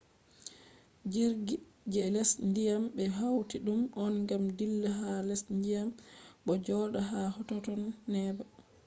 jirgi je les dyam be hauti dum on gam dilla ha les dyam bo joda ha totton neba